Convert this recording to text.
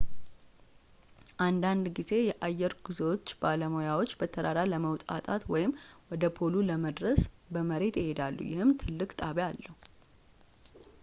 አንዳንድ ጊዜ የአየር ጉዞዎች ባለሙያዎች በተራራ ለመወጣጣት ወይም ወደ ፖሉ ለመድረስ በመሬት ይሄዳሉ ይህም ትልቅ ጣቢያ አለው